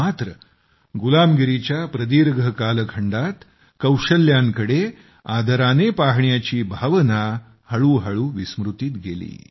मात्र गुलामगिरीच्या प्रदीर्घ कालखंडात कौशल्यांकडे आदराने पाहण्याची भावना हळूहळू विस्मृतीत गेली